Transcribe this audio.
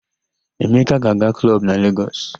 Emeka ga-aga klọb na Legọs.